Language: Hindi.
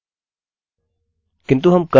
चलिए यहाँ एक नज़र डालें